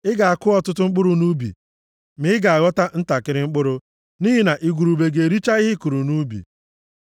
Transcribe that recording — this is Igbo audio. Ị ga-akụ ọtụtụ mkpụrụ nʼubi ma ị ga-aghọta ntakịrị mkpụrụ, nʼihi na igurube ga-ericha ihe ị kụrụ nʼubi.